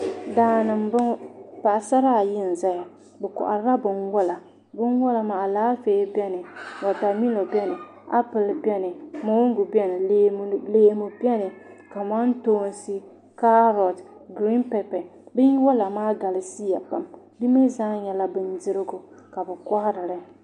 Daani n boŋo paɣasara ayi n ʒɛya bi koharila binwola binwola maa wotamilo biɛni Alaafee biɛni appplɛ biɛni mongu biɛni leemu biɛni kamantoosi kaarot giriin pɛpɛ binwola maa galisiya pam di mii zaa nyɛla bindirigu ka bi koharili